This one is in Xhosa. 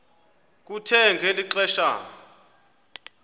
kuthe ngeli xesha